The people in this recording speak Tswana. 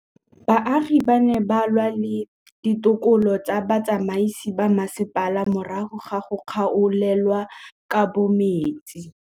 Baagi ba ne ba lwa le ditokolo tsa botsamaisi ba mmasepala morago ga go gaolelwa kabo metsi